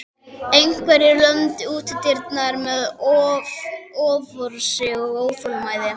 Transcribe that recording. Einhverjir lömdu útidyrnar með offorsi og óþolinmæði.